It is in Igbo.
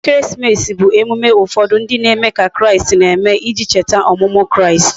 Ekeresimesi bu emume ufodu ndi na eme ka kraist na eme, iji echeta omumu kraist